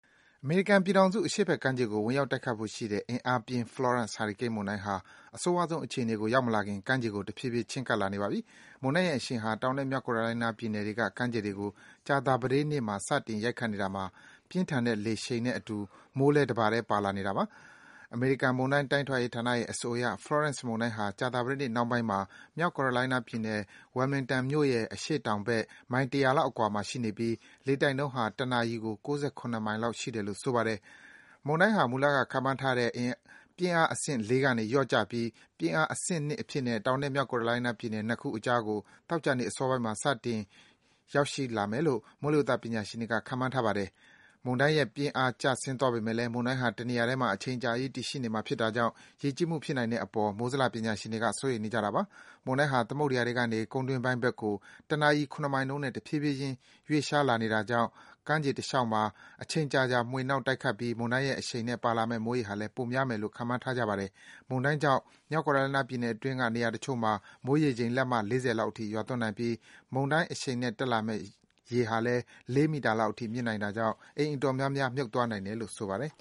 အမေရိကန်ပြည်ထောင်စု အရှေ့ဘက်ခြမ်းကို ဝင်ရောက်တိုက်ခိုက်ဖို့ရှိတဲ့ အင်အားပြင်း Florence ဟာရီကိန်း မုန်တိုင်းဟာ အဆိုးရွားဆုံး အခြေအနေကို ရောက်မလာခင် ကမ်းခြေကို တဖြည်းဖြည်း ချဉ်းကပ်လာနေပါပြီ။ မုန်တိုင်းရဲ့အရှိန်ဟာ တောင်နဲ့ မြောက်ကယ်ရိုလိုင်းနားပြည်နယ်တွေက ကမ်းခြေတွေကို ကြာသပတေးနေ့မှာ စတင် ရိုက်ခတ်နေတာမှာ ပြင်းထန်တဲ့ လေအရှိန်နဲ့အတူ မိုးလည်း တပါတည်း ပါလာပါတယ်။ အမေရိကန်မုန်တိုင်း တိုင်းထွာရေးဌာနရဲ့ အဆိုအရ Florence မုန်တိုင်းဟာ ကြာသပတေးနေ့ နှောင်းပိုင်းမှာ မြောက်ကယ်ရိုလိုင်းနားပြည်နယ် Wilmington မြို့ရဲ့ အရှေ့တောင်ဘက် မိုင် ၁၀၀ လောက်အကွာမှာ ရှိနေပြီး လေတိုက်နှုန်းဟာ တနာရီကို ၉၇ မိုင်လောက်ရှိတယ်လို့ ဆိုပါတယ်။ မုန်တိုင်းဟာ မူလက ခန့်မှန်းထားတဲ့ ပြင်းအားအဆင့် ကနေ လျော့ကျပြီး ပြင်းအား အဆင့် အဖြစ်နဲ့ တောင်နဲ့ မြောက်ကယ်ရိုလိုင်းနားပြည်နယ် နှစ်ခုအကြားကို သောကြာနေ့ အစောပိုင်းမှာ စတင် ရောက်ရှိလာမယ်လို့ မိုးလေဝသပညာရှင်တွေက ခန့်မှန်းထားပါတယ်။ မုန်တိုင်းရဲ့ ပြင်းအားကျဆင်းသွားပေမယ့်လည်း မုန်တိုင်းဟာ တနေရာထဲမှာ အချိန်အကြာကြီး တည်ရှိနေမှာ ဖြစ်တာကြောင့် ရေကြီးမှုဖြစ်နိုင်တဲ့အပေါ် မိုးဇလ ပညာရှင်တွေက စိုးရိမ်နေကြတာပါ။ မုန်းတိုင်းဟာ သမုဒ္ဒယာထဲကနေ ကုန်းတွင်းပိုင်းဘက်ကို တနာရီ မိုင်နှုန်းနဲ့ တဖြည်းဖြည်းချင်း ရွေ့လျှားနေတာကြောင့် ကမ်းခြေတလျှောက်မှာ အချိန်ကြာကြာ မွှေနှောက် တိုက်ခတ်ပြီး မုန်တိုင်းရဲ့အရှိန်နဲ့ ပါလာမယ့် မိုးရေချိန်ဟာလည်း ပိုများမယ်လို့ ခန့်မှန်းထားကြပါတယ်။ မုန်းတိုင်းကြောင့် မြောက်ကယ်ရိုလိုင်းနားပြည်နယ်အတွင်းက နေရာတချို့မှာ မိုးရေချိန် လက်မ ၄၀ လောက်အထိ ရွာသွန်းနိုင်ပြီး မုန်တိုင်းအရှိန်နဲ့ တက်လာမယ့် ရေဟာလည်း ၄ မီတာလောက်အထိ မြင့်နိုင်တာကြောင့် အိမ်အတော်များများ မြှုပ်သွားနိုင်တယ်လို့ ဆိုပါတယ်